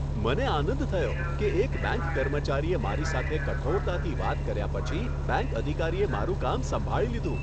મને આનંદ થયો કે એક બેંક કર્મચારીએ મારી સાથે કઠોરતાથી વાત કર્યા પછી બેંક અધિકારીએ મારું કામ સંભાળી લીધું.